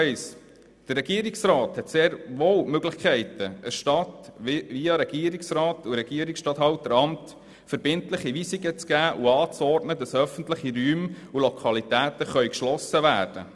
Zu Punkt 1: Der Regierungsrat hat sehr wohl die Möglichkeit, einer Stadt via Regierungsstatthalteramt verbindliche Weisungen zu geben und anzuordnen, dass öffentliche Räume und Lokalitäten geschlossen werden.